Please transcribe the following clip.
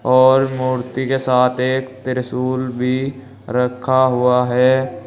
और मूर्ति के साथ एक त्रिशूल भी रखा हुआ है।